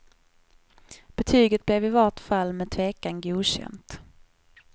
Betyget blev i vart fall med tvekan godkänt.